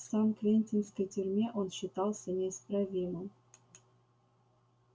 в сан квентинской тюрьме он считался неисправимым